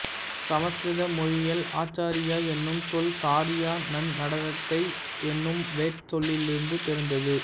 சமஸ்கிருத மொழியில் ஆச்சார்யா எனும் சொல் சார்யா நன்நடத்தை எனும் வேர்ச் சொல்லிருந்து பிறந்தது